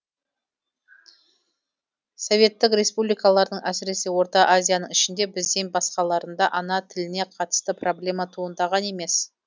советтік республикалардың әсіресе орта азияның ішінде бізден басқаларында ана тіліне қатысты проблема туындаған емес